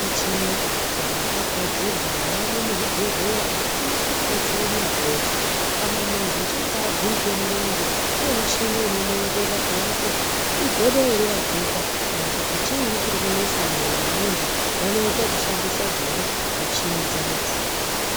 Michini yakagadzirwa yamwo muzvibhehleya inokwanise kubetsere muntu weshe ,kana muntu echinge agurike murenje kune muchini unomuongorora kuone kuti igodo ere raguka kana kuti chiinyi chirikunesa mumwoyo wemunhu vanoita zvekushandisa dzona michini dzino idzi.